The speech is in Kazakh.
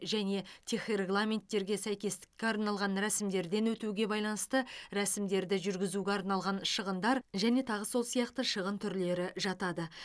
және техрегламенттерге сәйкестікке арналған рәсімдерден өтуге байланысты рәсімдерді жүргізуге арналған шығындар және тағы сол сияқты шығын түрлері жатады